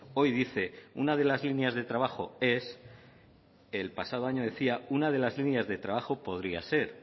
hoy dice una de las líneas de trabajo es el pasado año decía una de las líneas de trabajo podría ser